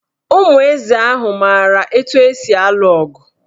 Ụmụ eze ahụ maara etu esi alụ ọgụ.